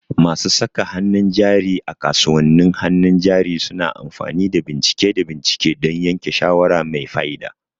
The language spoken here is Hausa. Masu saka hannun jari a kasuwannin hannun jari suna amfani da bincike da bincike don yanke shawara mai fa'ida.